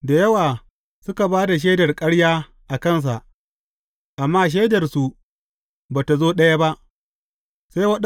Da yawa suka ba da shaidar ƙarya a kansa, amma shaidarsu ba tă zo ɗaya ba.